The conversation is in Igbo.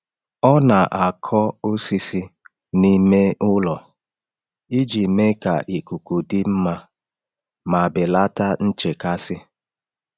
Ọ na-akọ osisi n’ime ụlọ iji mee ka ikuku dị mma ma belata nchekasị.